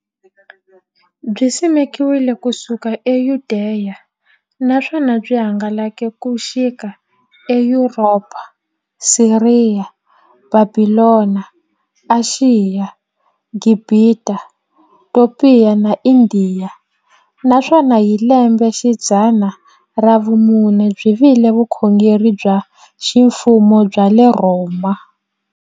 Byisimekiwe ku suka e Yudeya, naswona byi hangalake ku xika e Yuropa, Siriya, Bhabhilona, Ashiya, Gibhita, Topiya na Indiya, naswona hi lembexidzana ra vumune byi vile vukhongeri bya ximfumo bya le Rhoma.